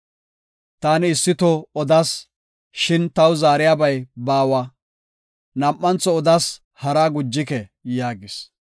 Taani issi toho odas; shin taw zaariyabay baawa; nam7antho odas haraa gujike” yaagis.